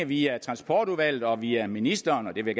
via transportudvalget og via ministeren og det vil